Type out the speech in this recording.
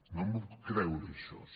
no m’ho puc creure això